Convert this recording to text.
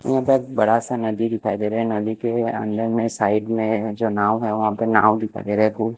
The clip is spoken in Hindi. वो बहोत बड़ा सा नदी दिखाई दे रहा है नदी के अंदर में साइड में जो नाव है नाव दिखाई दे रहाहै--